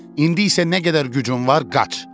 İndi isə nə qədər gücün var, qaç.